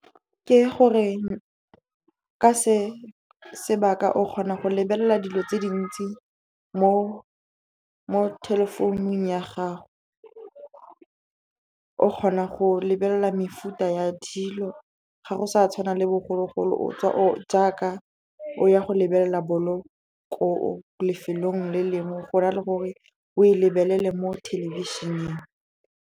Ke gore ke se sebaka, o kgona go lebelela dilo tse dintsi mo telephone ya gago. O kgona go lebelela mefuta ya dilo, ga go sa tshwana le bogologolo o tswa jaaka o ya go lebelela bolo ko lefelong le lengwe, go na le gore o e lebelele mo thelebišeneng.